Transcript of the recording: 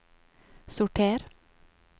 sorter